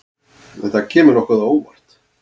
Þetta kemur nokkuð á óvart.